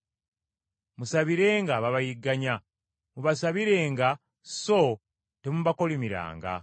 Musabirenga ababayigganya; mubasabirenga so temubakolimiranga.